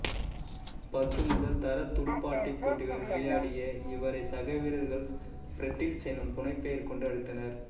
பத்து முதல் தரத் துடுப்பாட்டப் போட்டிகளில் விளையாடிய இவரை சக வீரர்கள் பிரடிள்ஸ் எனும் புனைப்பெயர் கொண்டு அழைத்தனர்